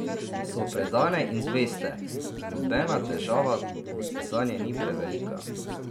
So predane in zveste, nobena težava zanje ni prevelika.